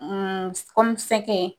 Hun sɛgɛ.